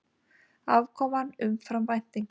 Afkoman umfram væntingar